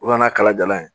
O nana kalajalan ye